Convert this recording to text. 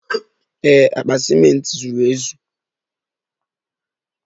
Ee, akpa ciment zuru ezu.